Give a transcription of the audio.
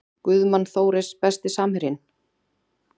Guðmann Þóris Besti samherjinn?